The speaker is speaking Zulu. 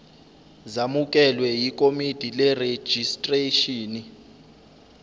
zamukelwe yikomidi lerejistreshini